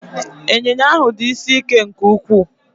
Ịnyịnya ahụ dị isi ike nke ukwuu